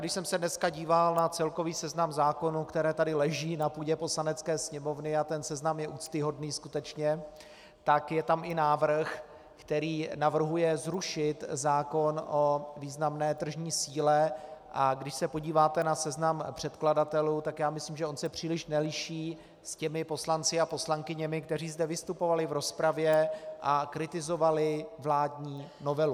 Když jsem se dneska díval na celkový seznam zákonů, které tady leží na půdě Poslanecké sněmovny, a ten seznam je úctyhodný, skutečně, tak je tam i návrh, který navrhuje zrušit zákon o významné tržní síle, a když se podíváte na seznam předkladatelů, tak já myslím, že on se příliš neliší s těmi poslanci a poslankyněmi, kteří zde vystupovali v rozpravě a kritizovali vládní novelu.